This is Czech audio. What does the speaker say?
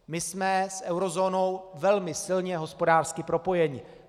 My jsme s eurozónou velmi silně hospodářsky propojeni.